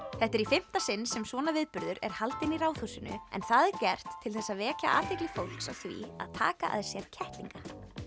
þetta er í fimmta sinn sem svona viðburður er haldinn í Ráðhúsinu en það er gert til að vekja athygli fólks á því að taka að sér kettlinga